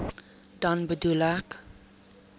dan bedoel ek